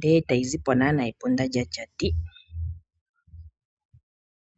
noyi na oku zapo epunda lyatya ti.